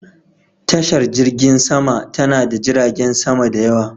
Tashar jirgin sama ta na da jiragen sama da yawa.